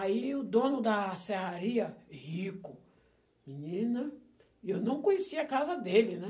Aí o dono da serraria, rico, menina, e eu não conhecia a casa dele, né?